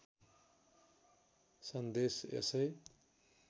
सन्देश यसै